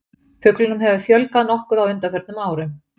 Fuglunum hefur fjölgað nokkuð á undanförnum árum.